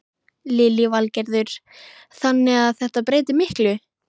Lillý Valgerður: Þannig að þetta breytir miklu?